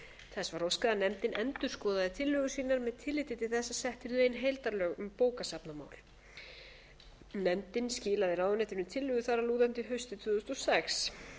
þess var óskað að nefndin endurskoðaði tillögur sínar með tilliti til þess að sett yrðu ein heildarlög um bókasafnamál nefndin skilaði ráðuneytinu tillögu þar að lútandi haustið tvö þúsund og sex